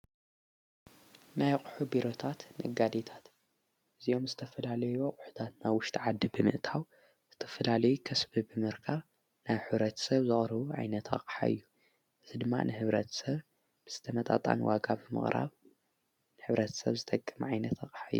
ናይ ኣቕሑ ቢሮታት ነጋዲታት፡- እዚኦም ዝተፍላለዮ ኣቝሑታት ና ውሽጢ ዓዲ ብምእታው ዝተፍላለዩ ከስቢ ብምርካርብ ናይ ሕ/ ሰብ ዘቕሩቡ ዓይነት ኣቕሓ እዮም፡፡ እዚ ድማ ንሕብረት ሰብ ብዝተመጣጣን ዋጋ ብምቕራብ ንሕብረት ሰብ ዝጠቅም ዓይነት ኣቕሓ እዩ፡፡